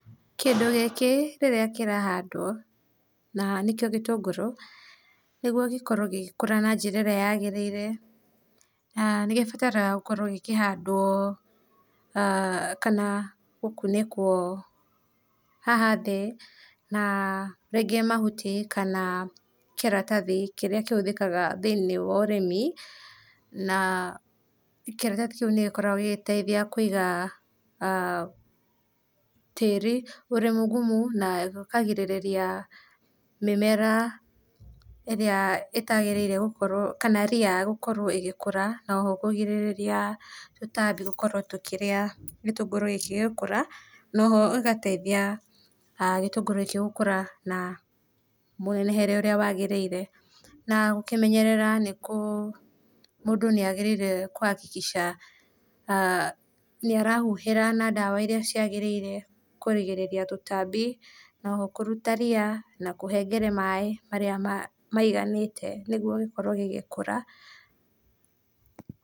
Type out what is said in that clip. Kĩndũ gĩkĩ rĩrĩra kĩrahandwo na nĩkĩo gĩtũngũrũ nĩgũo gĩkorwo gĩgĩkũra na njĩra ĩrĩa yagĩrĩrĩa na nĩ gĩbataraga gũkorwo gĩkĩhandwo kana gũkũ nĩkũo, haha thĩ na rĩngĩ mahũti kana kĩratathi kĩrĩa kĩhũthĩka thĩinĩ wa ũrĩmi na kĩratathĩ kĩũ nĩgĩkorwagwo gĩgĩteithĩa kũiga tĩri ũrĩ mũgũmũ, na ũkagĩrĩrĩa mĩmera ĩrĩa ĩtaagĩrĩire kana rĩa gũkorwo ĩgĩkũra na oho kũgĩrĩrĩa tũtambĩ gũkorwo tũkĩrĩa gĩtũngũrũ gĩkĩ gĩgĩkũra, na oho ĩgĩgateithĩa gĩtũngũrũ gĩkĩ gũkũra na mũnenehere ũrĩa wagĩrĩire na gũkĩmenyerera nĩ kũ, mũndũ nĩagĩrĩire kũhakĩkĩca nĩarahũhĩra na dawa ĩrĩa ciagĩrĩire kũrĩgĩrĩrĩa tũtambĩ na oho nakũruta rĩa na kũhengere maĩ marĩa maĩganĩte nĩgũo gĩkorwo gĩgĩkũra.